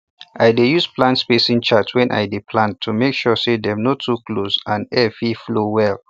i dey use plant spacing chart when i dey plant to make sure say dem no too close and air fit flow well